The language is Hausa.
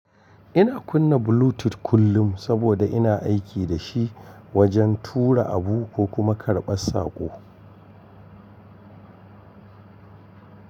Ina kunna Bluetooth kullum saboda ina aiki da shi wajen tura abu ko kuma karɓar saƙo.